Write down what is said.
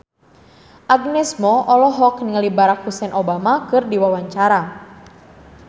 Agnes Mo olohok ningali Barack Hussein Obama keur diwawancara